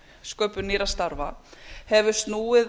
sköpun nýrra starfa hefur snúið